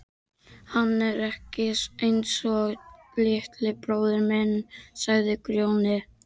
Hann er ekki einsog litli bróðir minn, sagði Grjóni.